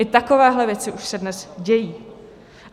I takovéhle věci už se dnes dějí.